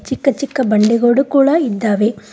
ಚಿಕ್ಕ ಚಿಕ್ಕ ಬಂಡೆಗಳು ಕೂಡ ಇದ್ದಾವೆ.